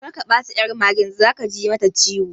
Kar ka taba ƴar mage, zaka ji mata ciwo